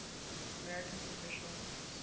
american professional sports